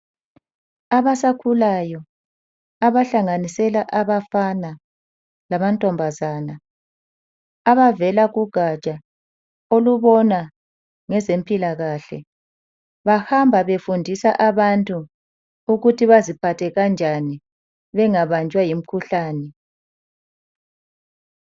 Abasakhulayo abahlanganisela abafana lamantombazana .Abavela kugatsha olubona ngezempilakahle. Bahamba befundisa abantu ukuthi baziphathe kanjani ukuze bengabanjwa yimikhuhlane.